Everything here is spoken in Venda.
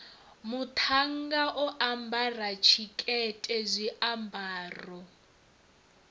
muṱhannga o ambara tshikete zwiambaro